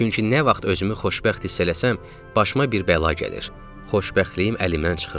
Çünki nə vaxt özümü xoşbəxt hiss eləsəm, başıma bir bəla gəlir, xoşbəxtliyim əlimdən çıxırdı.